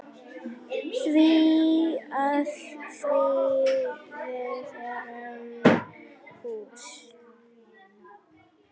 Því að við erum hús.